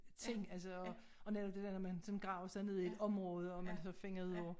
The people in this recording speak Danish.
Ting altså og og netop det der når man sådan graver sig ned i et område og man så finder ud af